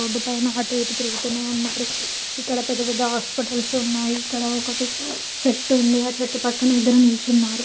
Road పైన అటు ఎటు తిరుగుతూనే ఉన్నారు ఇక్కడ పెద్ద పెద్ద హాస్పిటల్స్ ఉన్నాయిఇక్కడ ఒకటి చెట్టు ఉందిఆ చుట్టుపక్కన ఇద్దరు నిలుచున్నారు.